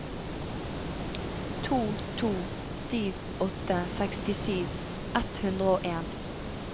to to sju åtte sekstisju ett hundre og en